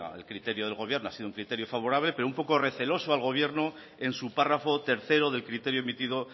el criterio del gobierno ha sido un criterio favorable pero un poco receloso al gobierno en su párrafo tercero del criterio emitido